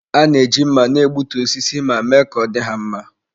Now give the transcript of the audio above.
A na-eji mma na-egbutu osisi ma mee ka ọ dị ha mma.